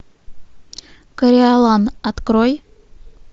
кориолан открой